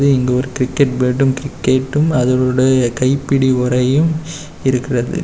இங்க ஒரு கிரிக்கட் பேட்டும் கிரிகேட்டும் அதனுடைய கைப்பிடி உறையும் இருக்குறது.